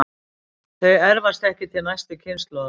Þau erfast ekki til næstu kynslóðar.